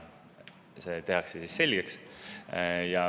See tehakse siis selgeks.